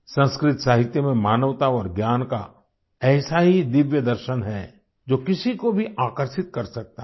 संस्कृत साहित्य में मानवता और ज्ञान का ऐसा ही दिव्य दर्शन है जो किसी को भी आकर्षित कर सकता है